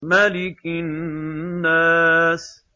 مَلِكِ النَّاسِ